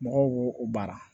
Mɔgɔw b'o o baara